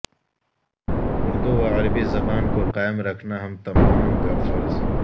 اردو و عربی زبان کو قائم رکھنا ہم تمام کا فرض